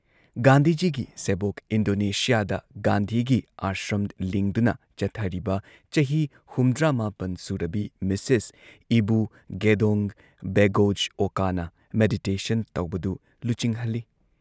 ꯒꯥꯟꯙꯤꯖꯤꯒꯤ ꯁꯦꯕꯣꯛ, ꯏꯟꯗꯣꯅꯦꯁꯤꯌꯥꯗ ꯒꯥꯟꯙꯤꯒꯤ ꯑꯥꯁ꯭ꯔꯝ ꯂꯤꯡꯗꯨꯅ ꯆꯠꯊꯔꯤꯕ ꯆꯍꯤ ꯍꯨꯝꯗ꯭ꯔꯥꯃꯥꯄꯟ ꯁꯨꯔꯕꯤ ꯃꯤꯁꯦꯁ ꯏꯕꯨ ꯒꯦꯗꯣꯡ ꯕꯦꯒꯣꯖ ꯑꯣꯀꯥꯅ ꯃꯦꯗꯤꯇꯦꯁꯟ ꯇꯧꯕꯗꯨ ꯂꯨꯆꯤꯡꯍꯜꯂꯤ꯫